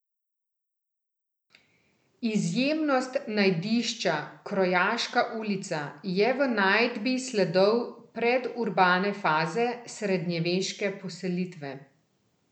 Izjemnost najdišča Krojaška ulica je v najdbi sledov predurbane faze srednjeveške poselitve.